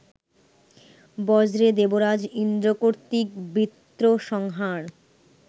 বজ্রে দেবরাজ ইন্দ্র কর্তৃক বৃত্র-সংহার